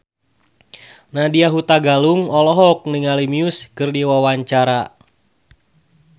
Nadya Hutagalung olohok ningali Muse keur diwawancara